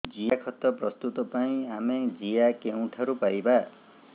ଜିଆଖତ ପ୍ରସ୍ତୁତ ପାଇଁ ଆମେ ଜିଆ କେଉଁଠାରୁ ପାଈବା